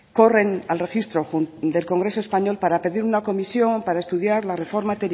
corren al registro del congreso español para pedir una comisión para estudiar la reforma